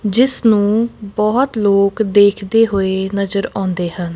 ਜਿੱਸ ਨੂੰ ਬਹੁਤ ਲੋਕ ਦੇਖਦੇ ਹੋਏ ਨਜ਼ਰ ਆਉਂਦੇ ਹਨ।